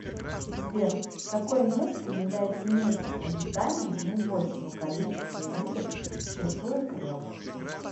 сбер какое место является местом обитания наибольшего количества видов чешуекрылых